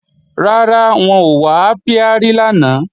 Rárá, wọn ò wá ápíárì lánàá